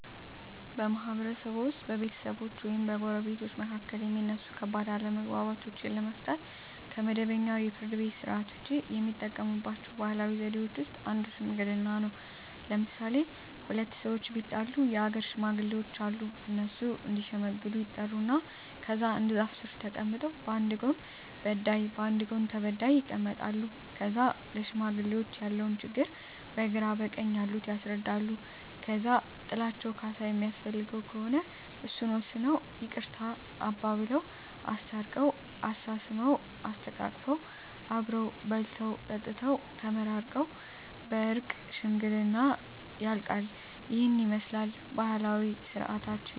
በማህበረሰብዎ ውስጥ በቤተሰቦች ወይም በጎረቤቶች መካከል የሚነሱ ከባድ አለመግባባቶችን ለመፍታት (ከመደበኛው የፍርድ ቤት ሥርዓት ውጪ) የሚጠቀሙባቸው ባህላዊ ዘዴዎች ውስጥ አንዱ ሽምግልና ነው። ለምሣሌ፦ ሁለት ሠዎች ቢጣሉ የአገር ሽማግሌዎች አሉ። እነሱ እዲሸመግሉ ይጠሩና ከዛ አንድ ዛፍ ስር ተቀምጠው በአንድ ጎን በዳይ በአንድ ጎን ተበዳይ ይቀመጣሉ። ከዛ ለሽማግሌዎች ያለውን ችግር በግራ በቀኝ ያሉት ያስረዳሉ። ከዛ ጥላቸው ካሣ የሚያስፈልገው ከሆነ እሱን ወስነው ይቅርታ አባብለው። አስታርቀው፤ አሳስመው፤ አሰተቃቅፈው አብረው በልተው ጠጥተው ተመራርቀው በእርቅ ሽምግልናው ያልቃ። ይህንን ይመስላል ባህላዊ ስርዓታችን።